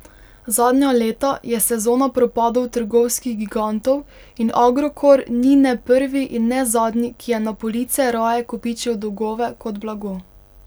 Zadnja leta je sezona propadov trgovskih gigantov in Agrokor ni ne prvi in ne zadnji, ki je na police raje kopičil dolgove kot blago.